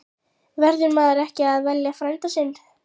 Verður maður ekki að velja frænda sinn?